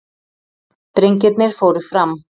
Drengirnir fóru fram.